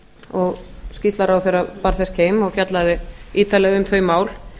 og skýrsla ráðherra bar þess keim og fjallaði ítarlega um þau mál